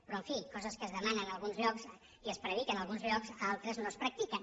però en fi coses que es demanen a alguns llocs i es prediquen a alguns llocs a altres no es practiquen